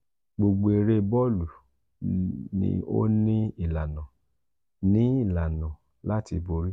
gbogbo ere boolu ni o ni ilana ni ilana lati bori.